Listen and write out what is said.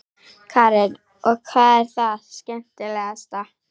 Karen: Og hvað er það skemmtilegasta?